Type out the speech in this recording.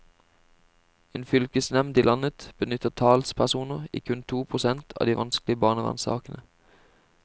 En fylkesnevnd i landet benyttet talspersoner i kun to prosent av de vanskelige barnevernssakene.